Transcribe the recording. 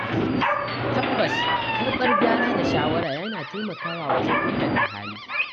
Tabbas Karɓar gyara da shawara yana taimakawa wajen inganta hali.